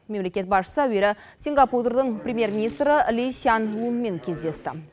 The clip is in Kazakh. мемлекет басшысы әуелі сингапурдың премьер министрі ли сянь лунмен кездесті